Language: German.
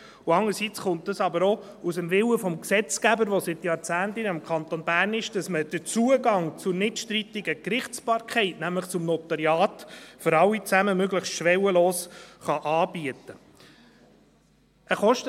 Andererseits kommt das aber auch aus dem Willen des Gesetzgebers, der seit Jahrzehnten in diesem Kanton besteht, dass man den Zugang zur nichtstrittigen Gerichtsbarkeit, nämlich zum Notariat, für alle zusammen möglichst schwellenlos anbieten kann.